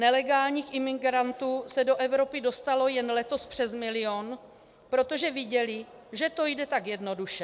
Nelegálních imigrantů se do Evropy dostalo jen letos přes milion, protože viděli, že to jde tak jednoduše.